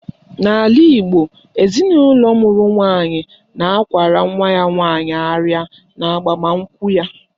N'ala Igbo, ezinụlọ mụrụ nwaanyị na-akwara nwa ya nwaanyị arịa n'agbamụnkwụ ya